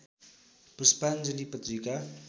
पुष्पाञ्जली पत्रिका